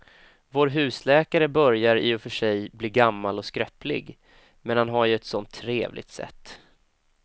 Vår husläkare börjar i och för sig bli gammal och skröplig, men han har ju ett sådant trevligt sätt!